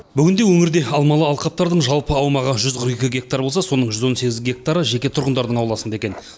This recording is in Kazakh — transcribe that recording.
бүгінде өңірде алмалы алқаптардың жалпы аумағы жүз қырық екі гектар болса соның жүз он сегіз гектары жеке тұрғындардың ауласында екен